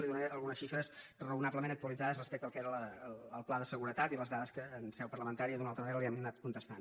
li donaré algunes xifres raonablement actualitzades respecte al que era el pla de seguretat i les dades que en seu parlamentària d’una o altra manera li hem anat contestant